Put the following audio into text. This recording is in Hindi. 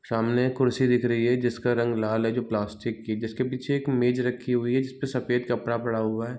सामने एक कुर्सी दिख रही है जिसका रंग लाल है जो प्लास्टिक की है जिसके पीछे एक मेज रखी हुई है जिसपे सफेद कपड़ा पड़ा हुआ है।